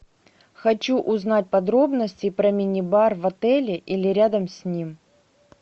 хочу узнать подробности про мини бар в отеле или рядом с ним